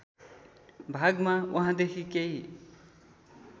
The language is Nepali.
भागमा वहाँदेखि केही